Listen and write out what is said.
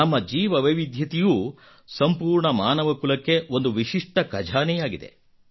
ನಮ್ಮ ಜೀವವೈವಿಧ್ಯತೆಯೂ ಸಂಪೂರ್ಣ ಮಾನವ ಕುಲಕ್ಕೆ ಒಂದು ವಿಶಿಷ್ಟ ಖಜಾನೆಯಾಗಿದೆ